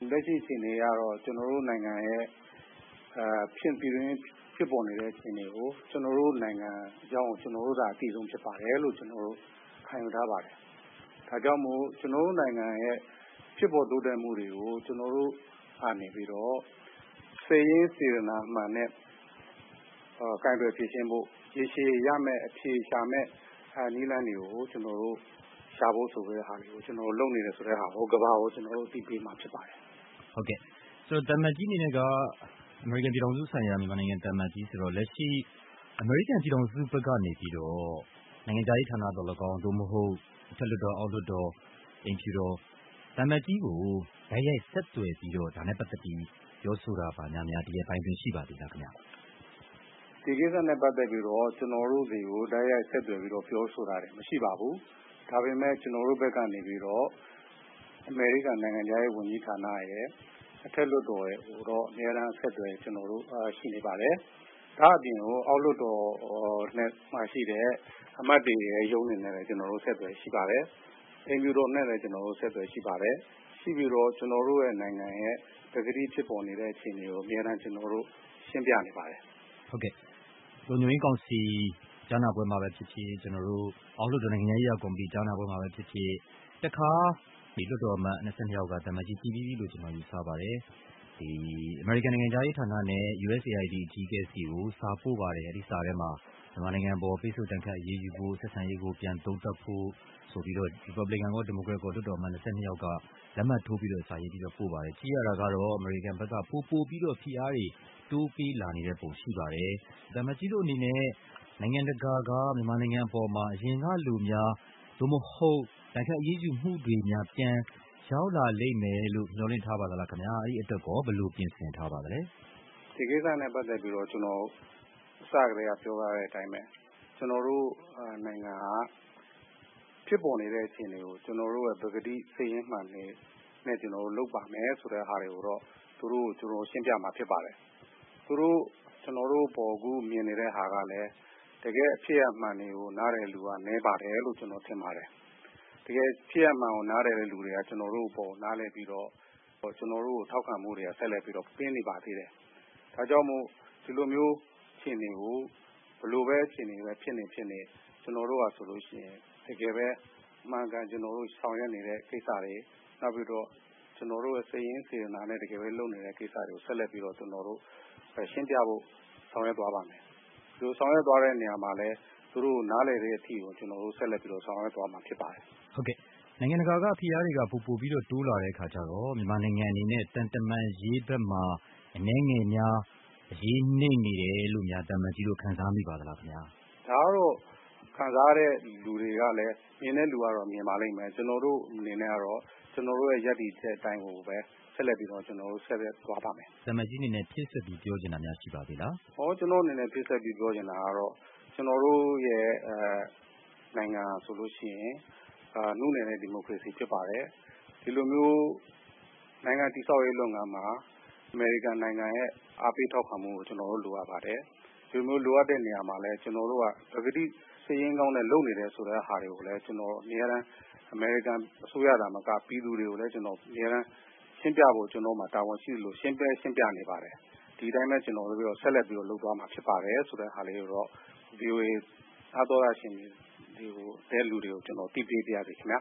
လက်ရှိအခြေအနေကတော့ ကျနော်တို့နိုင်ငံ ရဲ့ပြည်တွင်း မှာဖြစ်ပေါ်နေတဲ့အခြေအနေကို ကျနော်တို့နိုင်ငံအကြောင်းကို ကျနော်တို့သာ အသိဆုံးဖြစ်ပါတယ်လို့ ခံယူထားပါတယ်။ ဒါကြောင့်မို့ ကျနော်တို့နိုင်ငံ ရဲ့ဖြစ်ပေါ် တိုးတက်မှုတွေကို ကျနော်တို့ကနေပြီးတော့ စိတ်ရင်းစေတနာမှန်နဲ့ ကိုင်တွယ်ဖြေရှင်းဖို့ ရေရှည်ရမယ့် အဖြေရှာမယ့်နည်းလမ်းတွေကို ကျနော်တို့ရှာဖို့လုပ်နေတယ်ဆိုတဲ့ဟာကို ကမ္ဘာကို ကျနော်တို့ အသိပေးမှာဖြစ်ပါတယ်။ ဟုတ်ကဲ့ သံအမတ်ကြီးအနေနဲ့က အမေရိကန်ပြည်ထောင်စု ဆိုင်ရာ အမေရိကန်သံအမတ်ကြီးဆိုတော့ လက်ရှိ အမေရိကန်ပြည်ထောင်စု ဘက်ကနေပြီးတော့ နိုင်ငံခြားရေးဌာနသော်လည်းကောင်း သို့မဟုတ် အထက်လွှတ်တော် ၊ အောက်လွှတ်တော် အိမ်ဖြူတော် သံအမတ်ကြီးကို တိုက်ရိုက်ဆက်သွယ်ပြီးတော့ ဒါနဲ့ပတ်သက်ပြီးတော့ ဆက်သွယ်ပြီး ပြောဆိုတာများရှိပါသလားခင်ဗျ။ ဒီကိစ္စနဲ့ပတ်သက်ပြီးတော့ ကျနော်တို့တွေကိ တိုက်ရိုက် ဆက်သွယ်ပြီးတော့ ပြောဆိုတာတွေ မရှိပါဘူး ဒါပေမဲ့ ကျနော်တို့ဘက် ကနေပြီးတော့ အမေရိကန်နိုင်ငံခြားရေးဝန်ကြီးဌာနရယ် အထက်လွှတ်တော်ရယ်ကိုတော့ အမြဲတမ်းအဆက်အသွယ် ကျနော်တို့ရှိနေပါတယ် ဒါ့အပြင်ကို အောက်လွှတ်တော်က အမတ်တွေရဲ့ရုံးတွေနဲ့လည်း ကျနော်တို့ အမြဲအဆက်အသွယ်ရှိပါတယ်။ အိမ်ဖြူတော်နဲ့ လည်း ကျနော်တို့အဆက်သွယ်ရှိပါတယ်။ ရှိပြီးတော့ ကျနော်တို့နိုင်ငံရဲ့ ပကတိဖြစ်ပေါ်နေတဲ့ အခြေအနေကို အမြဲတမ်းရှင်းပြနေပါတယ်။ ဟုတ်ကဲ့ လုံခြုံရေးကောင်စီ ကြားနာပွဲမှာပဲဖြစ်ဖြစ် အောက်လွှတ်တော် နိုင်ငံခြားရေးရာ ကော်မတီ ကြားနာပွဲမှာပဲဖြစ်ဖြစ် တခါ လွှတ်တော်အမတ် ၂၂ယောက်က သံအမတ်ကြီး သိပြီးပြီလို့ယူဆပါတယ်။ အမေရိကန်နိုင်ငံခြားရေးဌာနနဲ့ USAID အကြီးအကဲဆီကို စာပို့ပါတယ်။ အဲ့ဒီ့စာထဲမှာ မြန်မာနိုင်ငံအပေါ် ပိတ်ဆို့ဒဏ်ခတ်အရေးယူဖို့၊ ဆက်ဆံရေးကို ပြန်သုံးသပ်ဖို့ ရီပတ်ဗလင်ကန်ရော ဒီမိုကရက်လွှတ်တော်အမတ် ၂၂ယောက်က လက်မှတ်ထိုးပြီးတော့ ပို့ပါတယ် ကြည့်ရတာကတော့ အမေရိကန်ဘက်က ပိုပိုပြီးတော့ ဖိအားတွေ တိုးပေးလာနေတဲ့ပုံရှိပါတယ် သံအမတ်ကြီးတို့အနေနဲ့ နိုင်ငံတကာက မြန်မာနိုင်ငံ အပေါ်မှာ အရင်ကလိုများ သို့မဟုတ် ဒဏ်ခတ်အရေးယူမှုတွေများ ပြန်ရောက် လာလိမ့်မယ်လို့ မျှော်လင့်ထားပါသလားခင်ဗျာ။ အဲ့ဒီ့အတွက်ရော ဘယ်လိုပြင်ဆင် ထားပါသလဲ။ ဒီကိစ္စနဲ့ပတ်သက်ပြီးတော့ ကျနော် အစကတည်းက ပြောထားတဲ့အတိုင်းပဲ ကျနော်တို့နိုင်ငံက ဖြစ်ပေါ်နေတဲ့အခြေအနေကို ကျနော်တို့ ပကတိ စိတ်ရင်းမှန်တွေနဲ့လုပ်ပါတယ်ဆိုတာကိုတော့ သူတို့ကို ကျနော်တို့ ရှင်းပြမှာဖြစ်ပါတယ်။ သူတို့အခု ကျနော်တို့အပေါ်ကို မြင်နေတဲ့ဟာကလည်း တကယ့်ဖြစ်ရပ်မှန်ကို နားလည်တဲ့သူက နည်းပါတယ်လို့ ကျနော်ထင်ပါတယ်။ တကယ်ဖြစ်ရပ်မှန်ကို နားလည်တဲ့သူက ကျနော်တို့အပေါ်ကို နားလည်ပြီးတော့ ကျနော်တို့အပေါ် ထောက်ခံမှုတွေ ကို ဆက်လက်ပြီး ပေးနေပါသေးတယ်။ ဒါကြောင့်မို့ ဒီလိုမျိုး အခြေအနေ ကို ဘယ်လိုပဲအခြေအနေပဲဖြစ်နေဖြစ်နေ ကျနော်တို့ဟာဆိုလို့ရှိရင် တကယ်ပဲ အမှန်အကန် ကျနော်တို့ဆောင်ရွက်နေတဲ့ကိစ္စတွေ နောက်ပြီးတော့ ကျနော်တို့ တကယ်ပဲ စိတ်ရင်းစေတနာနဲ့လုပ်နေတဲ့ကိစ္စတွေကို ဆက်လက်ပြီးတော့ ကျနော်တို့ရှင်းပြဖို့ ဆောင်ရွက်သွားပါ့မယ်။ ဒီလိုဆောင်ရွက်သွားတဲ့အခါမှာလည်း သူတို့ကို နားလည်တဲ့အထိကို ကျနော်တို့ဆက်လက်ပြီးတော့ ဆောင်ရွက်သွားမှာ ဖြစ်ပါတယ်။ ဟုတ်ကဲ့ နိုင်ငံတကာက ဖိအားတွေက ပိုပိုပြီးတော့ တိုးလာတဲ့အခါကျတော့ မြန်မာနိုင်ငံအနေနဲ့ သံတမန်ရေးဘက်မှာ အနည်းငယ်များ အရေးနိမ့်နေတယ်လို့များ သံအမတ်ကြီးတို့ ခံစားမိပါသလား။ ဒါကတော့ ခံစားနေတဲ့သူတွေကတော့ မြင်တဲ့သူကတော့ မြင်ပါလိမ့်မယ်။ ကျနော်တို့အနေနဲ့ကတော့ ကျနော်တို့ရဲ့ ရပ်တည်ချက်အတိုင်းကိုပဲ ဆက်လက်ပြီးတော့ ကျနော်တို့သွားပါ့မယ်။ သံအမတ်ကြီးအနေနဲ့ ဖြည့်စွက်ပြီးတော့ ပြောချင်တာများရှိပါသေးသလား။ ကျနော့်အနေနဲ့ ဖြည့်စွက်ပြီး ပြောချင်တာကတော့ ကျနော်တို့ရဲ့ နိုင်ငံဟာဆိုလို့ရှိရင် နုနယ်တဲ့ ဒီမိုကရေစီဖြစ်ပါတယ်။ ဒီလိုမျိုး နိုင်ငံ တည်ဆောက်ရေးလုပ်ငန်းမှာ အမေရိကန်နိုင်ငံရဲ့ အားပေးထောက်ခံမှုကို ကျနော်တို့လိုအပ်ပါတယ်။ ဒီလိုလိုအပ်တဲ့နေရာမှာလည်း ပကတိစိတ်ရင်းကောင်း နဲ့လုပ်နေတယ် ဆိုတဲ့ဟာတွေကိုလည်း ကျနော် အမြဲတမ်း အမေရိကန်အစိုးရသာမက ပြည်သူတွေကိုလည်း ရှင်းပြဖို့ ကျနော့်မှာ တာဝန်ရှိသလို ရှင်းလည်းရှင်းပြနေပါတယ်။ ဒီအတိုင်းပဲ ကျနော်ဆက်လက်ပြီးတော့ လုပ်သွားမှာဖြစ်ပါတယ်ဆိုတဲ့ဟာလေးကိုတော့ ဗွီအိုအေ နားသောတရှင်တွေကို ကျနော် အသိပေးပါရစေခင်ဗျာ